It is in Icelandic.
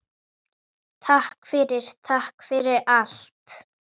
Takk fyrir, takk fyrir allt.